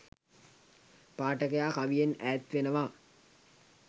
පාඨකයා කවියෙන් ඈත් වෙනවා